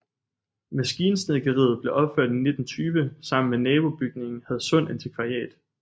Maskinsnedkeriet blev opført i 1920 sammen med nabobygningen Hadsund Antikvariat